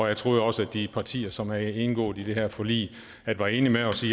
jeg troede også at de partier som har indgået i det her forlig var enige med os i